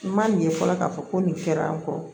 N ma ɲɛ fɔlɔ k'a fɔ ko nin fɛɛrɛ kɔ